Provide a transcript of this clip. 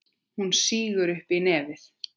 Hún sýgur upp í nefið.